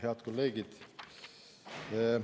Head kolleegid!